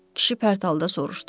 Kişi pərthalda soruşdu.